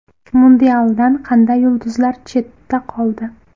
Mundialdan qanday yulduzlar chetda qoldi?.